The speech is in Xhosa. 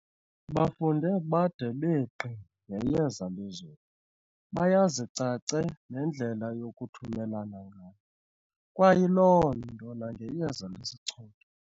bafunde bade begqi ngeyeza lezulu, bayazi cace nendlela yokuthumelana ngalo, kwayiloonto nangeyeza lesichotho.